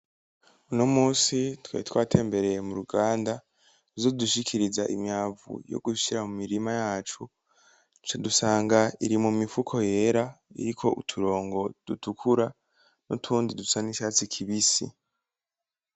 Uno musi twari twatembereye mu ruganda ruzodushikiza imyavu yo gushira mu mirima yacu ca dusanga iri mu mifuko yera iriko uturongo dutukura n’utundi dusa n’icatsi kibisi.